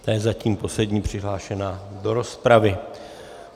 Ta je zatím poslední přihlášená do rozpravy.